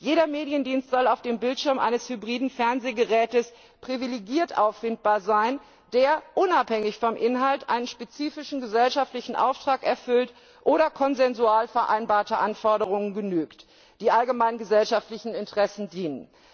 Jeder Mediendienst soll auf dem Bildschirm eines hybriden Fernsehgeräts privilegiert auffindbar sein, der unabhängig vom Inhalt einen spezifischen gesellschaftlichen Auftrag erfüllt oder konsensual vereinbarten Anforderungen genügt, die allgemeinen gesellschaftlichen Interessen dienen.